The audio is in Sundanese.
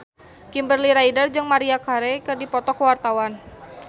Kimberly Ryder jeung Maria Carey keur dipoto ku wartawan